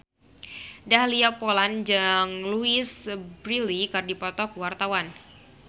Dahlia Poland jeung Louise Brealey keur dipoto ku wartawan